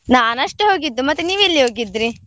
ನಾನ್ ಅಷ್ಟೇ ಹೋಗಿದ್ದು, ಮತ್ತೆ ನೀವೆಲ್ಲಿ ಹೋಗಿದ್ರೀ?